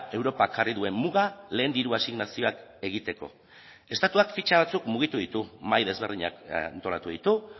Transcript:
europak jarri duen muga lehen diru asignazioak egiteko estatuak fitxa batzuk mugitu ditu mahai desberdinak antolatu ditu